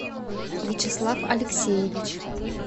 вячеслав алексеевич